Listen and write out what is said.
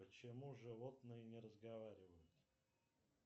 почему животные не разговаривают